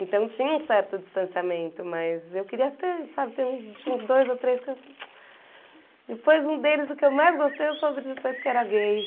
Então tinha um certo distanciamento, mas eu queria até, sabe, tinha uns dois ou três que eu... Depois um deles, o que eu mais gostei, eu soube depois que era gay.